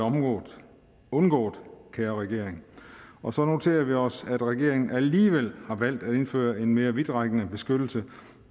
undgået kære regering og så noterer vi os at regeringen alligevel har valgt at indføre en mere vidtrækkende beskyttelse